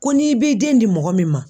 Ko n'i b'i den di mɔgɔ min ma.